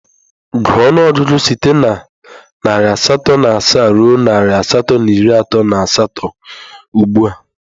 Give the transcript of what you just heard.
Gụọ ọnụọgụgụ site na narị asatọ na asaa ruo narị asatọ na iri atọ na asatọ ugbu a!